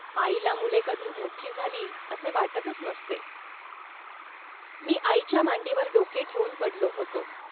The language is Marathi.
आईला मुले कधी मोठी झाली, असे वाटतच नसते. मी आईच्या मांडीवर डोके ठेवून पडलो होतो